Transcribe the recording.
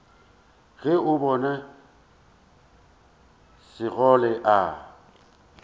ge o bona sekgole a